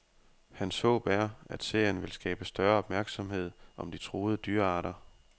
Hans håb er, at serien vil skabe større opmærksomhed om de truede dyrearter.